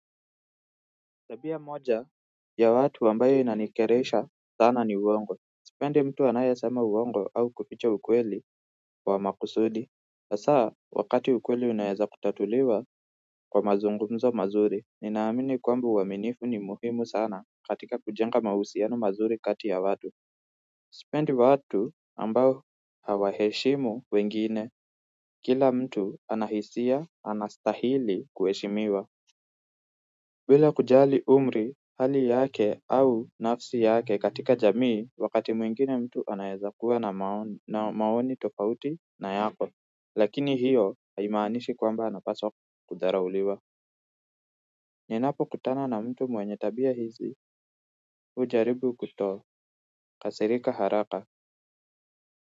Tabia moja ya watu ambayo inanikeresha sana ni uongo sipendi mtu anayesema uongo au kuficha ukweli wa makusudi hasa, wakati ukweli unaweza kutatuliwa kwa mazungumzo mazuri, ninaamini kwamba uaminifu ni muhimu sana katika kujenga mahusiano mazuri kati ya watu sipendi watu ambao hawaheshimu wengine kila mtu ana hisia anastahili kuheshimiwa bila kujali umri hali yake au nafsi yake katika jamii wakati mwingine mtu anaezakuwa na maoni tofauti na yako lakini hiyo haimaanishi kwamba anapaswa kudharauliwa. Ninapokutana na mtu mwenye tabia hizi hujaribu kutokasirika haraka.